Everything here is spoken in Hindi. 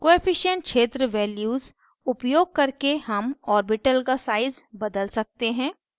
coefficient कोअफिशन्ट क्षेत्र values उपयोग करके हम orbital का size बदल सकते हैं